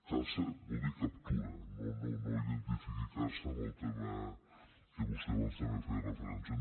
caça vol dir captura no identifiqui caça amb el tema a què vostè abans també feia referència